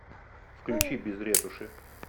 включи без ретуши